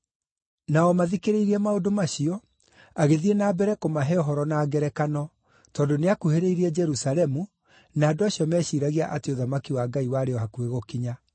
Na o mathikĩrĩirie maũndũ macio, agĩthiĩ na mbere kũmahe ũhoro na ngerekano, tondũ nĩakuhĩrĩirie Jerusalemu, na andũ acio meciiragia atĩ ũthamaki wa Ngai warĩ o hakuhĩ gũkinya.